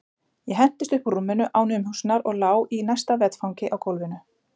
Ég hentist upp úr rúminu án umhugsunar og lá í næsta vetfangi á gólfinu.